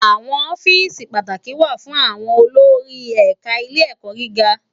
Awòn òfìsí pàátákí wá fún áwòn ólórí ẹká Ilé Èkò gigá